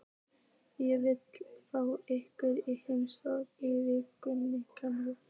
Ég vil fá ykkur í heimsókn í viku, Kamilla.